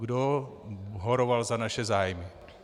Kdo horoval za naše zájmy?